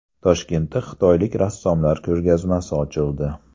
Toshkentda xitoylik rassomlar ko‘rgazmasi ochildi.